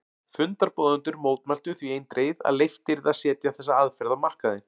Fundarboðendur mótmæltu því eindregið að leyft yrði að setja þessa aðferð á markaðinn.